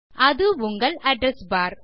அது உங்கள் அட்ரெஸ் பார்